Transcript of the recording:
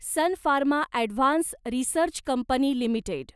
sun Pharma advanced research company limited